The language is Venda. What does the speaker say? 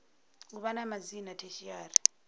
u vha na madzina tertiary